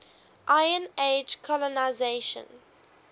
iron age colonisation